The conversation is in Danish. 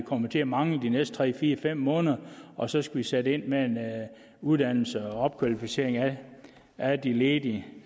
kommer til at mangle de næste tre fire fem måneder og så skal vi sætte ind med uddannelse og opkvalificering af de ledige